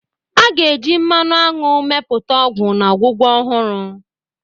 A ga-eji mmanụ aṅụ mepụta ọgwụ na ọgwụgwọ ọhụrụ.